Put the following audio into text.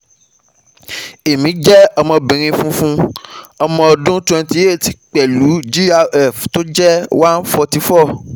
Emi jẹ obìnrin funfun ọmọ ọdún twenty eight pẹ̀lú gfr tó jẹ́ one forty four